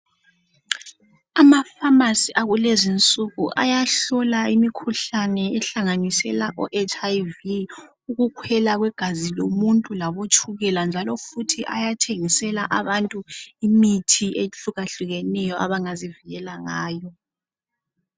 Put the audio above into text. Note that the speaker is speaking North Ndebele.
Ama-pharmacy akulezi insuku ayahlola imikhihlane ehlanganisela oHIV, ukukhwela kwegazi lomuntu labotshukela njalo futhi ayathengisela abantu imithi ehlukahlukeneyo abangazi vikela ngayo.